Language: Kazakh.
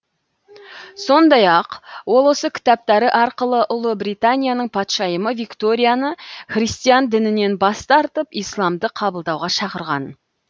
сондай ақ ол осы кітаптары арқылы ұлыбританияның патшайымы викторияны христиан дінінен бас тартып исламды қабылдауға шақырған